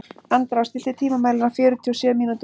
Andrá, stilltu tímamælinn á fjörutíu og sjö mínútur.